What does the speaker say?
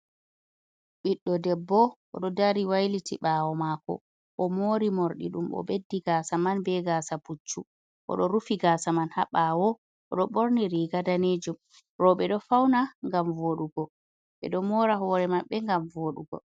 Ɓiɗdo debbo oɗo dari wailiti ɓawo mako, o mori morɗi ɗum o ɓeddi gasa man be gasa puccu, oɗo rufi gasa man ha bawo, oɗo borni riga danejum. roɓe ɗo fauna ngam voɗugo, ɓeɗo mora hore maɓɓe ngam voɗugo.